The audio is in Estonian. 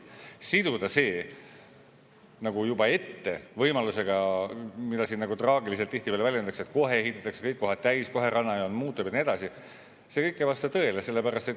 Siduda see nagu juba ette võimalusega, mida siin tihtipeale traagiliselt väljendatakse, et kohe ehitatakse kõik kohad täis, kohe rannajoon muutub ja nii edasi – see kõik ei vasta tõele.